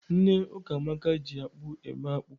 Nne Ukamaka ji akpụ eme akpụ.